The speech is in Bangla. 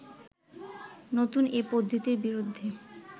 নতুন এ পদ্ধতির বিরুদ্ধে